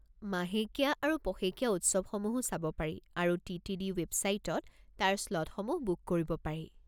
মাহেকীয়া আৰু পষেকীয়া উৎসৱসমূহো চাব পাৰি আৰু টি.টি.ডি. ৱেবছাইটত তাৰ স্লটসমূহ বুক কৰিব পাৰি।